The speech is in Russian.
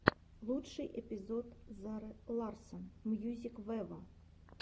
лучший эпизод зары ларсон мьюзик вево